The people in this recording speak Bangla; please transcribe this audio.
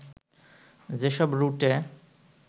যেসব রুটে